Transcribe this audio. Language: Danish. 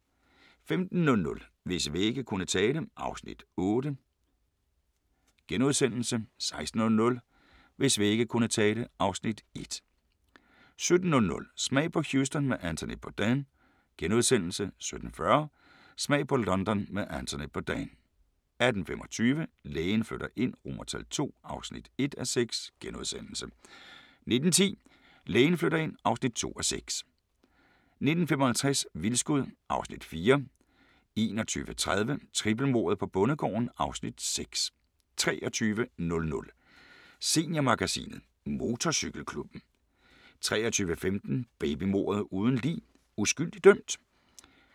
15:00: Hvis vægge kunne tale (Afs. 8)* 16:00: Hvis vægge kunne tale (Afs. 1) 17:00: Smag på Houston med Anthony Bourdain * 17:40: Smag på London med Anthony Bourdain 18:25: Lægen flytter ind II (1:6)* 19:10: Lægen flytter ind (2:6) 19:55: Vildskud (Afs. 4) 21:30: Trippelmordet på bondegården (Afs. 6) 23:00: Seniormagasinet – Motorcykelklubben 23:15: Babymordet uden lig: Uskyldig dømt?